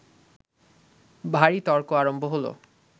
ভারি তর্ক আরম্ভ হল